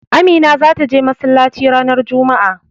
Amina zata je masallaci ranar juma'a.